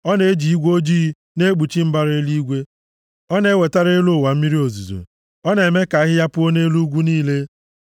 Ọ na-eji igwe ojii na-ekpuchi mbara eluigwe; ọ na-ewetara elu ụwa mmiri ozuzo na-eme ka ahịhịa puo nʼelu ugwu niile.